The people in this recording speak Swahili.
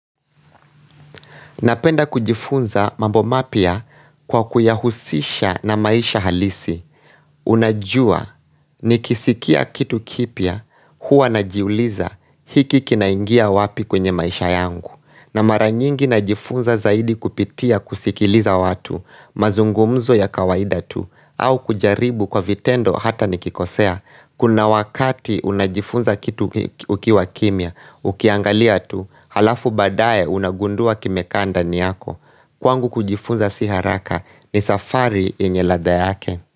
Napenda kujifunza mambo mapya kwa kuyahusisha na maisha halisi Unajua nikisikia kitu kipya huwa najiuliza hiki kinaingia wapi kwenye maisha yangu? Na mara nyingi najifunza zaidi kupitia kusikiliza watu, mazungumzo ya kawaida tu au kujaribu kwa vitendo hata nikikosea. Kuna wakati unajifunza kitu ukiwa kimya, ukiangalia tu, halafu baadaye unagundua kimekaa ndani yako Kwangu kujifunza si haraka, ni safari yenye ladha yake.